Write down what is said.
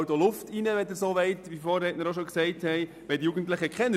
Es ist ein kleiner Beitrag, aber es wäre ein Zeichen.